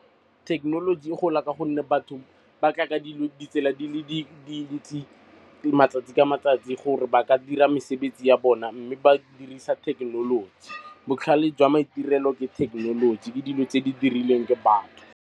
Thekenoloji e gola ka gonne batho ba tla ka ditsela di le dintsi matsatsi ka matsatsi gore ba ka dira mesebetsi ya bona. Mme ba dirisa thekenoloji. Botlhale jwa maitirelo le thekenoloji ke dilo tse di dirilweng batho.